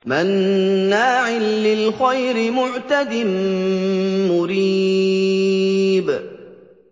مَّنَّاعٍ لِّلْخَيْرِ مُعْتَدٍ مُّرِيبٍ